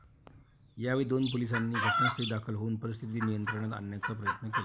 यावेळी दोन पोलिसांनी घटनास्थळी दाखल होऊन परिस्थिती नियंत्रणात आणण्याचा प्रयत्न केला.